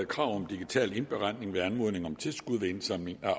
krav om digital indberetning ved anmodning om tilskud ved indsamling af